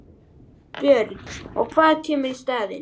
Björn: Og hvað kemur í staðinn?